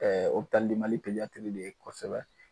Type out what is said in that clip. Ɛɛ Opitali di mali pezatiri de ye kosɛbɛ